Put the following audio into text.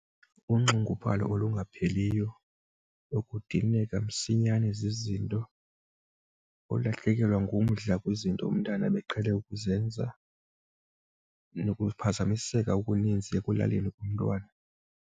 Unxunguphalo olungapheliyo nokudineka msinyane zizinto, ulahlekelwe ngumdla kwizinto umntana ebeqhele ukuzenza nokuphazamiseka okuninzi ekulaleni komntwana.